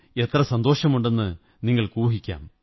സന്തോഷമുണ്ടെന്ന് നിങ്ങള്ക്ക്് ഊഹിക്കാം